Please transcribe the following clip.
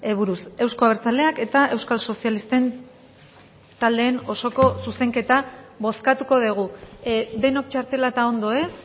buruz euzko abertzaleak eta euskal sozialisten taldeen osoko zuzenketa bozkatuko dugu denok txartela eta ondo ez